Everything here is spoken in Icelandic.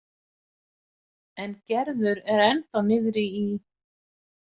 En Gerður er ennþá niðri í